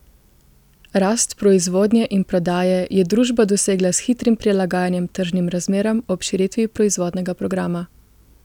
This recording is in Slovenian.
Rast proizvodnje in prodaje je družba dosegla s hitrim prilagajanjem tržnim razmeram ob širitvi proizvodnega programa.